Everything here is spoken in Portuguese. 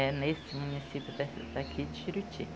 É nesse município daqui daqui de Juruti.